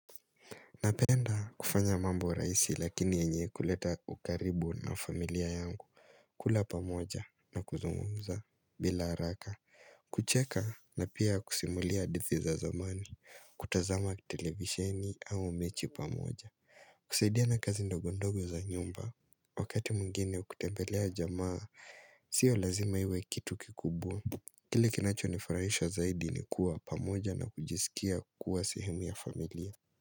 Napenda kufanya mambo rahisi lakini yenye kuleta ukaribu na familia yangu kula pamoja na kuzungumza bila haraka kucheka na pia kusimulia hadithi za zamani, kutazama televisheni au mechi pamoja kusaidiana kazi ndogondogo za nyumba Wakati mwingine ukitembelea jamaa Sio lazima iwe kitu kikubwa. Kile kinacho nifurahisha zaidi ni kuwa pamoja na kujisikia kuwa sehemu ya familia.